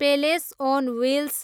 palace on wheels